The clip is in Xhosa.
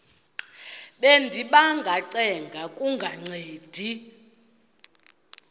bendiba ngacenga kungancedi